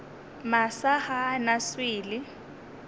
masa ga a na swele